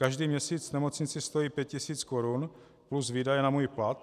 Každý měsíc nemocnici stojí pět tisíc korun plus výdaje na můj plat.